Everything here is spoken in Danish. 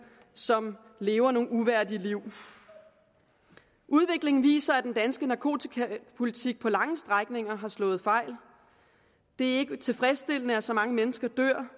som lever nogle uværdige liv udviklingen viser at den danske narkotikapolitik på lange strækninger har slået fejl det er ikke tilfredsstillende at så mange mennesker dør